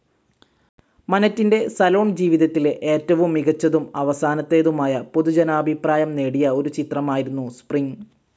മനെറ്റിന്റെ salon ജീവിതത്തിലെ ഏറ്റവും മികച്ചതും അവസാനത്തേതുമായ പൊതുജനാഭിപ്രായം നേടിയ ഒരുചിത്രമായിരുന്നു സ്പ്രിംഗ്.